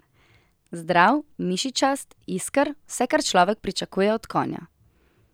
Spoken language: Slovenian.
Zdrav, mišičast, isker, vse kar človek pričakuje od konja.